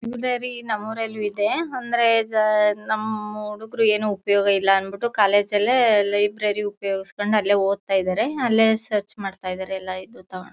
Library ನಮ್ಮೂರಲ್ಲೂ ಇದೆ ಅಂದ್ರೆ ನಮ್ಮ ಹುಡುಗರು ಏನು ಉಪಯೋಗ ಇಲ್ಲ ಅನ್ಬಿಟ್ಟು ಕಾಲೇಜಲ್ಲಿ ಲೈಬ್ರರಿ ಉಪಯೋಗಿಸಿಕೊಂಡು ಅಲ್ಲೇ ಓದ್ತಾ ಇದ್ದಾರೆ ಅಲ್ಲೇ ಸರ್ಚ್ ಮಾಡ್ತಾ ಇದ್ದಾರೆ ಎಲ್ಲ ಇದು ತೊಂಗೊಂದ್.